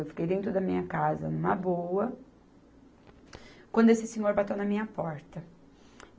Eu fiquei dentro da minha casa, numa boa, quando esse senhor bateu na minha porta.